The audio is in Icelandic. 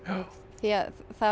því